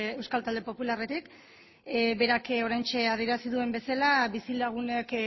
euskal talde popularretik berak oraintxe adierazi duen bezala bizilagunek